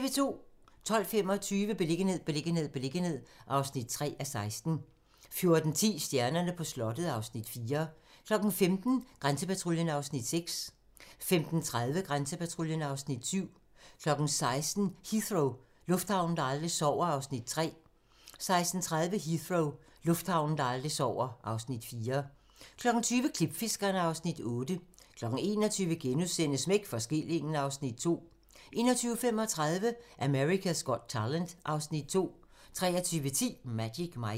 12:25: Beliggenhed, beliggenhed, beliggenhed (3:16) 14:10: Stjernerne på slottet (Afs. 4) 15:00: Grænsepatruljen (Afs. 6) 15:30: Grænsepatruljen (Afs. 7) 16:00: Heathrow - lufthavnen, der aldrig sover (Afs. 3) 16:30: Heathrow - lufthavnen, der aldrig sover (Afs. 4) 20:00: Klipfiskerne (Afs. 8) 21:00: Smæk for skillingen (Afs. 2)* 21:35: America's Got Talent (Afs. 2) 23:10: Magic Mike